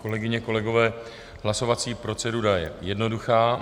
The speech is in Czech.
Kolegyně, kolegové, hlasovací procedura je jednoduchá.